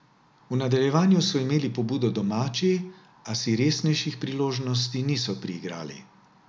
V nadaljevanju so imeli pobudo domači, a si resnejših priložnosti niso priigrali.